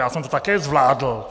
Já jsem to také zvládl.